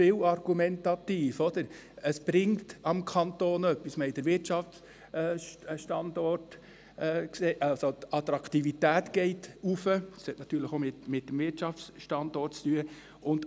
Wir argumentieren oft, es bringe dem Kanton etwas und die Attraktivität erhöhe sich – das hat natürlich mit dem Wirtschaftsstandort zu tun.